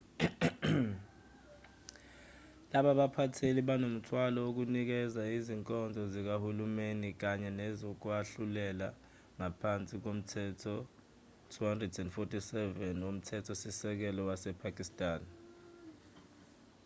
laba baphatheli banomthwalo wokunikeza izinkonzo zikahulumeni kanye nezokwahlulela ngaphansi komthetho 247 womthetho-sisekelo wasepakistan